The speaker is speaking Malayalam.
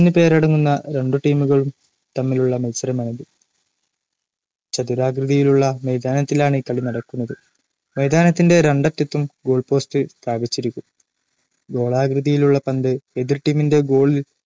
തമ്മിലുളള മത്സരമാണിത്‌ ചതുരാകൃതിയിലുള്ള മൈതാനത്തിലാണ് കളി നടക്കുന്നത്. മൈതാനത്തിന്റെ രണ്ടറ്റത്തും ഗോൾ പോസ്റ്റ് സ്ഥാപിച്ചിരിക്കും ഗോളാകൃതിയിലുള്ള പന്ത് എതിർ ടീമിന്റെ ഗോളിൽ